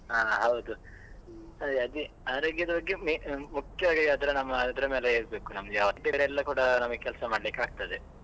ಆ ಹೌದು ಅದೇ ಅದೇ ಆರೋಗ್ಯದ ಬಗ್ಗೆ main ಮುಖ್ಯವಾಗಿ ಅದರ ನಮ್ಮ ಅದರ ಮೇಲೆ ಇರ್ಬೇಕು ಬೇರೆ ಎಲ್ಲ ಕೂಡ ನಮಗೆ ಕೆಲಸ ಮಾಡ್ಲಿಕ್ಕೆ ಆಗ್ತದೆ.